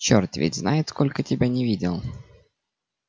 чёрт ведь знает сколько тебя не видел